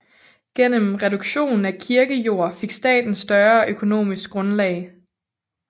Gennem reduktion af kirkejord fik staten større økonomisk grundlag